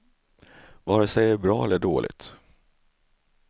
Vare sig det är bra eller dåligt.